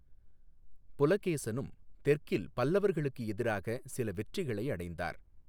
புலகேசனும் தெற்கில் பல்லவர்களுக்கு எதிராக சில வெற்றிகளை அடைந்தார்.